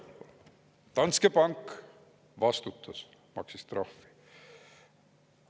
Jah, Danske Bank vastutas, maksis trahvi.